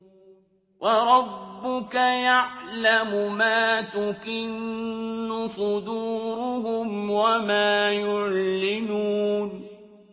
وَرَبُّكَ يَعْلَمُ مَا تُكِنُّ صُدُورُهُمْ وَمَا يُعْلِنُونَ